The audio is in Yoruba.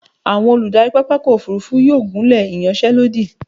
Àwọn olùdarí pápákọ̀ òfúrúfú yóò gùnlé ìyanṣẹ́lódì.